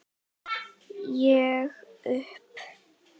Ég upp